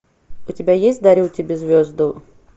у тебя есть дарю тебе звезду